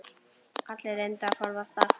Allir reyndu að forðast það.